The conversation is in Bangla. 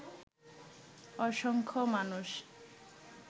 অসংখ্য মানুষ